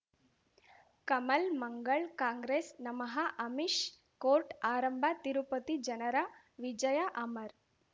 ಕಮಲ್ ಮಂಗಳ್ ಕಾಂಗ್ರೆಸ್ ನಮಃ ಅಮಿಷ್ ಕೋರ್ಟ್ ಆರಂಭ ತಿರುಪತಿ ಜನರ ವಿಜಯ ಅಮರ್